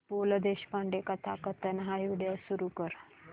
पु ल देशपांडे कथाकथन हा व्हिडिओ सुरू कर